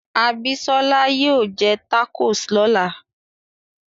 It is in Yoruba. Abisola yóò jẹ tacos lọ́la